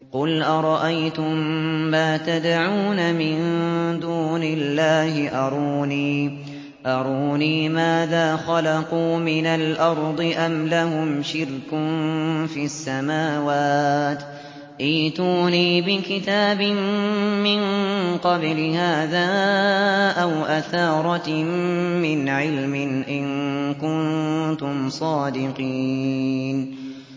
قُلْ أَرَأَيْتُم مَّا تَدْعُونَ مِن دُونِ اللَّهِ أَرُونِي مَاذَا خَلَقُوا مِنَ الْأَرْضِ أَمْ لَهُمْ شِرْكٌ فِي السَّمَاوَاتِ ۖ ائْتُونِي بِكِتَابٍ مِّن قَبْلِ هَٰذَا أَوْ أَثَارَةٍ مِّنْ عِلْمٍ إِن كُنتُمْ صَادِقِينَ